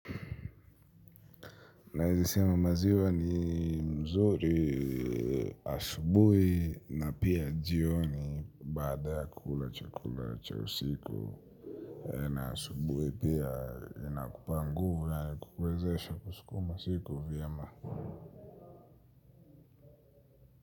Na ezisema maziwa ni mzuri asubuhi na pia jioni baada ya kula chakula cha usiku. Na asubuhi pia inakupa nguvu yani kukwezesha kusukuma siku vyema.